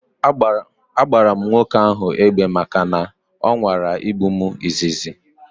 A gbara m nwoke ahu egbe maka na ọ nwara igbu m izizi